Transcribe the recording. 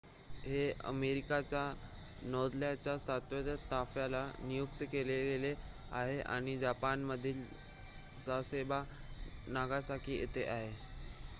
हे अमेरिकेच्या नौदलाच्या सातव्या ताफ्याला नियुक्त केले गेले आहे आणि जपानमधील सासेबो नागासाकी येथे आहे